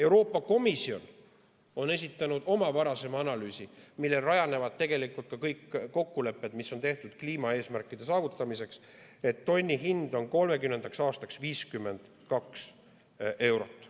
Euroopa Komisjon on esitanud oma varasema analüüsi, millel rajanevad tegelikult ka kõik kokkulepped, mis on tehtud kliimaeesmärkide saavutamiseks, et tonni hind on 2030. aastaks 52 eurot.